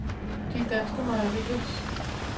De Danske Mejeriers